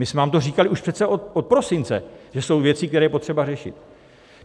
My jsme vám to říkali už přece od prosince, že jsou věci, které je potřeba řešit.